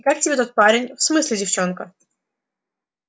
и как тебе тот парень в смысле девчонка